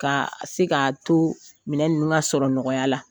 Ka se k'ato minɛ ninnu ka sɔrɔ nɔgɔya la,